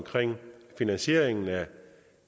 finansieringen af